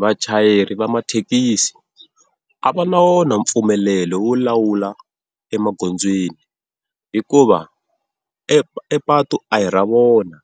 Vachayeri va mathekisi a va na wona mpfumelelo wo lawula emagondzweni, hikuva e epatu a hi ra vona,